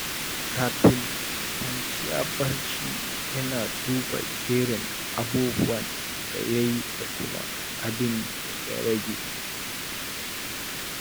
Kafin kwanciya barci, yana duba jerin abubuwan da ya yi da kuma abin da ya rage.